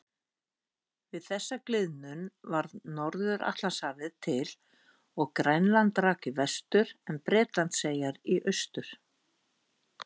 Við þessa gliðnun varð Norður-Atlantshafið til og Grænland rak í vestur en Bretlandseyjar í austur.